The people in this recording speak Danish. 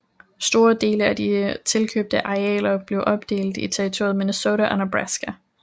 Store dele af de tilkøbte arealer blev opdelt i territorierne Minnesota og Nebraska